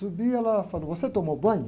subi e ela falou, você tomou banho?